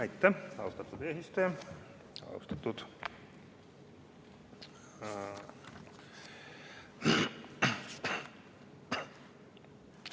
Aitäh, austatud eesistuja!